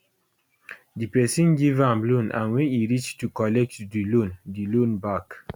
di pesin give am loan and wen e reach to collect di loan di loan back